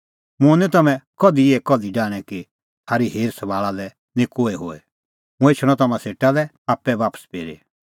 मुंह निं तम्हैं कधि इहै कल्ही डाहणैं कि थारी हेरासभाल़ा लै निं कोहै होए हुंह एछणअ तम्हां सेटा लै आप्पै बापस फिरी